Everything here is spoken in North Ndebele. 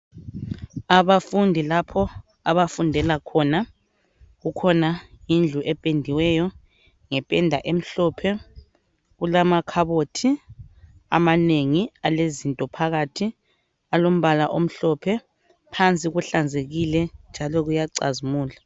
Abafundi lapho abafundela khona, kukhona indlu ependiweyo ngependa emhlophe, kulamakhabothi amanengi alezinto phakathi alombala omhlophe phansi kuhlanzekile njalo kuyacazikula.